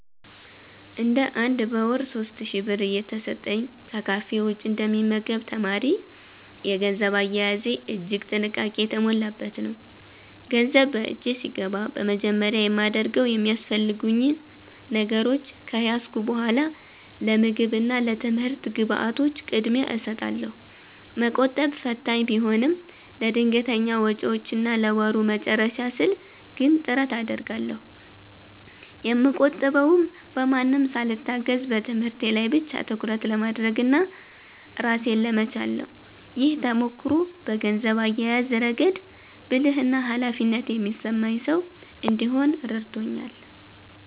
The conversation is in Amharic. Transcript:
እንደ አንድ በወር 3,000 ብር እየተሰጠኝ ከካፌ ውጭ እንደ ሚመገብ ተማሪ፤ የገንዘብ አያያዜ እጅግ ጥንቃቄ የተሞላበት ነው። ገንዘብ በእጄ ሲገባ በመጀመሪያ የማደርገው የሚያስፈልጉኝ ነገሮች ከያዝኩ በኃላ ለምግብ እና ለትምህርት ግብዓቶች ቅድሚያ እሰጣለሁ። መቆጠብ ፈታኝ ቢሆንም፤ ለድንገተኛ ወጪዎችና ለወሩ መጨረሻ ስል ግን ጥረት አደርጋለሁ። የምቆጥበውም በማንም ሳልታገዝ በትምህርቴ ላይ ብቻ ትኩረት ለማድረግና ራሴን ለመቻል ነው። ይህ ተሞክሮ በገንዘብ አያያዝ ረገድ ብልህና ኃላፊነት የሚሰማኝ ሰው እንድሆን ረድቶኛል።